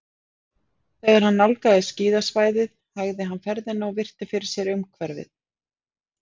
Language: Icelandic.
Þegar hann nálgaðist skíðasvæðið hægði hann ferðina og virti fyrir sér umhverfið.